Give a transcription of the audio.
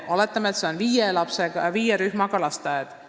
Oletame, et seal on viie rühmaga lasteaed.